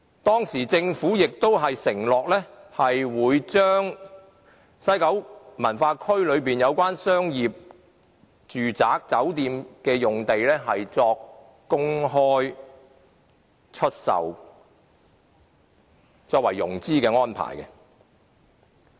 當時，政府亦承諾會公開出售西九文化區內有關商業、住宅和酒店的用地，作為融資的安排。